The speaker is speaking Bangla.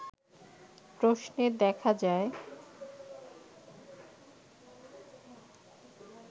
প্রশ্নে দেখা যায়